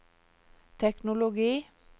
teknologi